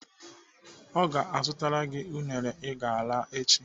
Ọ ga-azụtara gị unere I ga-ara echi?